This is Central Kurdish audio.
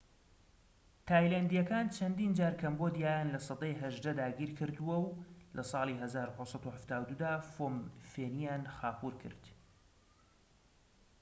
تایلەندیەکانی چەندین جار کەمبۆدیایان لە سەدەی 18 داگیر کردووە و لە ساڵی 1772دا فۆم فێنیان خاپوور کرد